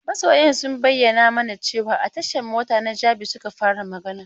Masoyan sun bayyana mana cewan a tashan mota na Jabi suka fara magana.